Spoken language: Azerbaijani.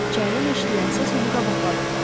İçəridən eşidilən səs onu qabaqladı.